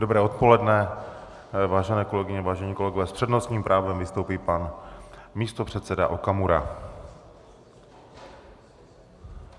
Dobré odpoledne, vážené kolegyně, vážení kolegové, s přednostním právem vystoupí pan místopředseda Okamura.